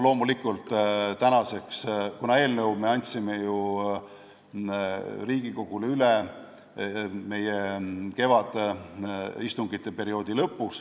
Loomulikult, eelnõu me andsime ju Riigikogule üle kevadise istungiperioodi lõpus.